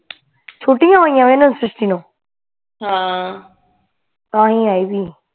ਛੁੱਟਈਆ ਹੋਈਆ ਨੇ ਨੂੰ ਹਾਂ ਤਾਂ ਹੀ ਆਈ ਹੋਈ